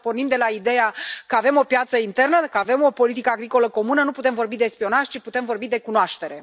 Dacă pornim de la ideea că avem o piață internă, dacă avem o politică agricolă comună, nu putem vorbi de spionaj, ci putem vorbi de cunoaștere.